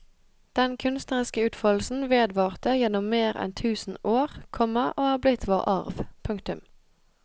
Den kunstneriske utfoldelsen vedvarte gjennom mer enn tusen år, komma og er blitt vår arv. punktum